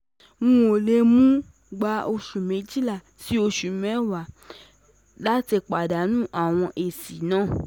um O le um gba osu mewa si osu mewa si um mejila lati padanu awọn esi